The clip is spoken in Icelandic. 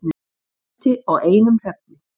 Lenti á einum hreyfli